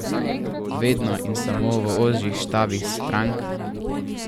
Vedno in samo v ožjih štabih strank?